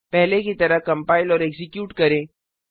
पहले की तरह कंपाइल और एक्जीक्यूट करें